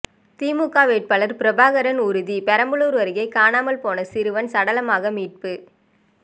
திமுக வேட்பாளர் பிரபாகரன் உறுதி பெரம்பலூர அருகே காணாமல் போன சிறுவன் சடலமாக மீட்பு